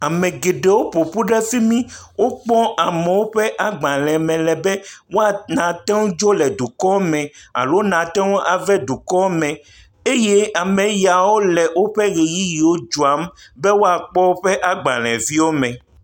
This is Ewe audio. amɛ gɛɖɛwo ƒoƒu ɖɛ fimi kpɔ amowo ƒa gbalɛ̃ mɛ lɛ bɛ woatoŋu adzo le dukɔ mɛ alo nateŋu avɛ dukɔmɛ eye ameyawo lɛ wóƒɛ ɣeyiyiwo dzɔam be woakpɔ wóƒe gbaleviwo mɛ